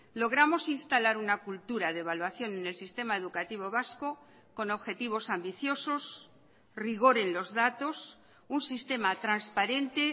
logramos instalar una cultura de evaluación en el sistema educativo vasco con objetivos ambiciosos rigor en los datos un sistema transparente